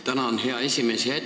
Tänan, hea esimees!